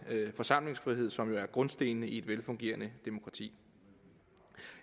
forsamlingsfrihed som jo er grundstenene i et velfungerende demokrati